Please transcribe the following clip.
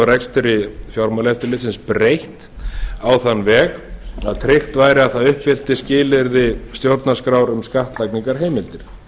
af rekstri fjármálaeftirlitsins breytt á þann veg að tryggt væri að það uppfyllt skilyrði stjórnarskrár um skattlagningarheimildir